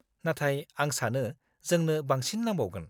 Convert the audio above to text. -नाथाय आं सानो जोंनो बांसिन नांबावगोन।